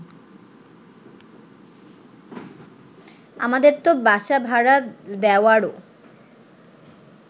আমাদের তো বাসা ভাড়া দেওয়ারও